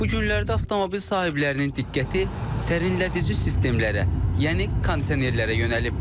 Bu günlərdə avtomobil sahiblərinin diqqəti sərinlədici sistemlərə, yəni kondisionerlərə yönəlib.